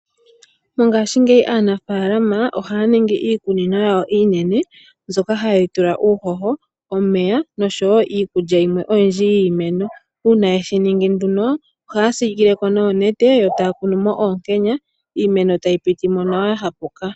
Mongaashingeyi aanafaalama ohaa ningi iikunino yawo iinene, mbyoka Haye yi tula uuhoho, omeya noshowoo iikulya yimwe oyindji yiimeno. Uuna yeshiningi nduno ohaa tsikileko noonete, etaa kunumo oonkenya iimeno tayi pitimo nawa yahapuka.